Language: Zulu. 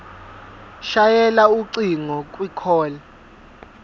shayela ucingo kwicall